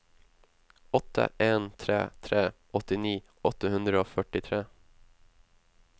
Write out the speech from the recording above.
åtte en tre tre åttini åtte hundre og førtitre